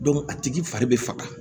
a tigi fari bɛ faga